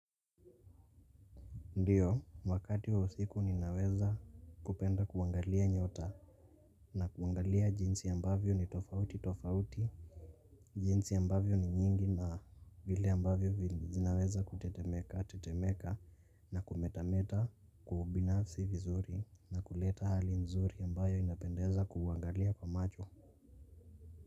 Ndiyo wakati wa usiku ninaweza kupenda kuangalia nyota na kuangalia jinsi ambavyo ni tofauti tofauti jinsi ambavyo ni nyingi na vile ambavyo zinaweza kutetemeka tetemeka na kumetameta kiubinafsi vizuri na kuleta hali nzuri ambayo inapendeza kuangalia kwa macho.